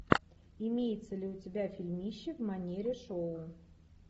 имеется ли у тебя фильмище в манере шоу